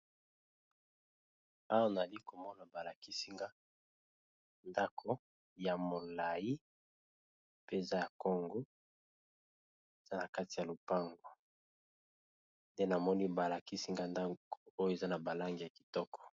Awa nazali komona balakisinga ndako ya molai mpeza ya congo a na kati ya lopango nde namoni balakisinga ndako oyo eza na balangi ya kitoko.